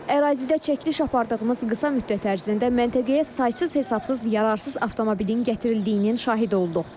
Ərazidə çəkiliş apardığımız qısa müddət ərzində məntəqəyə saysız-hesabsız yararsız avtomobilin gətirildiyinin şahidi olduq.